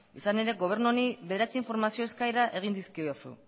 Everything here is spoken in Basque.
izan ere gobernu honi bederatzi informazio eskaera egin dizkiozu